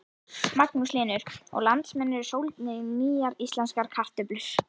Magnús Hlynur: Og landsmenn eru sólgnir í nýjar íslenskar kartöflur?